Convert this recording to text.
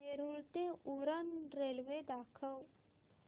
नेरूळ ते उरण रेल्वे दाखव